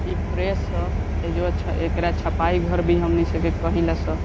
इ प्रेस हअ एज्वा छ एकरा छपाई घर भी हमनी सब के कहिला स --